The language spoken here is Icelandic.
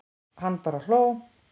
Hann bara hló.